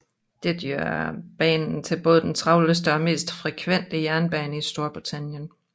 Dette gør banen til både den travleste og mest frekvente jernbane i Storbritannien